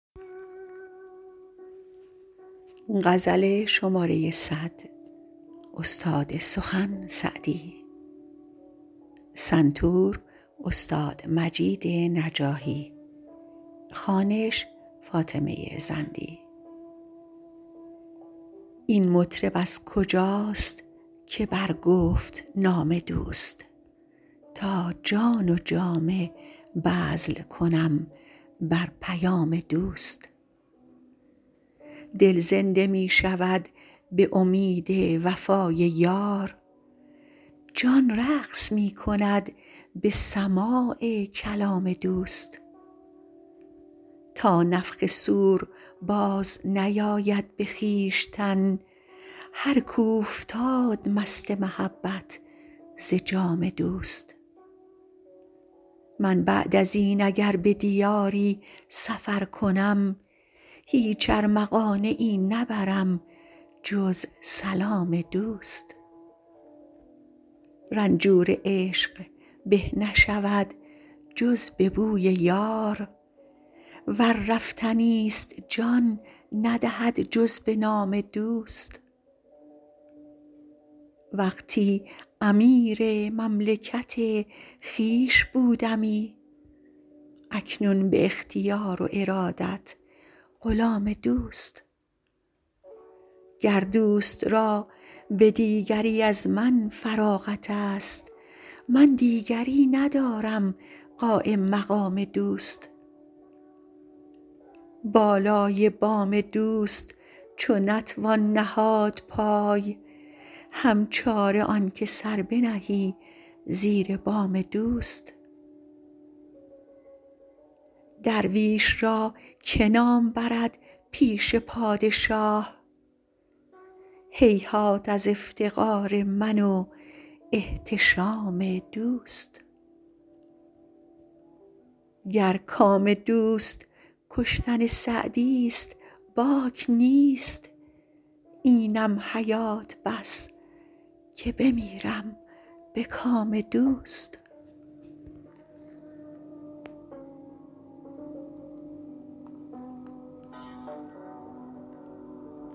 این مطرب از کجاست که برگفت نام دوست تا جان و جامه بذل کنم بر پیام دوست دل زنده می شود به امید وفای یار جان رقص می کند به سماع کلام دوست تا نفخ صور بازنیاید به خویشتن هر کاو فتاد مست محبت ز جام دوست من بعد از این اگر به دیاری سفر کنم هیچ ارمغانیی نبرم جز سلام دوست رنجور عشق به نشود جز به بوی یار ور رفتنی ست جان ندهد جز به نام دوست وقتی امیر مملکت خویش بودمی اکنون به اختیار و ارادت غلام دوست گر دوست را به دیگری از من فراغت ست من دیگری ندارم قایم مقام دوست بالای بام دوست چو نتوان نهاد پای هم چاره آن که سر بنهی زیر بام دوست درویش را که نام برد پیش پادشاه هیهات از افتقار من و احتشام دوست گر کام دوست کشتن سعدی ست باک نیست اینم حیات بس که بمیرم به کام دوست